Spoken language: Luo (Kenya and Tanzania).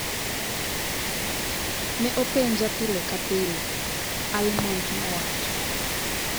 ""Ne openja pile ka pile," Almond nowacho.